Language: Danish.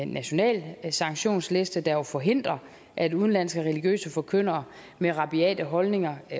national sanktionsliste der jo forhindrer at udenlandske religiøse forkyndere med rabiate holdninger